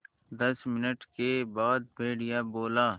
दस मिनट के बाद भेड़िया बोला